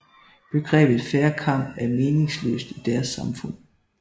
Begrebet fair kamp er meningsløst i deres samfund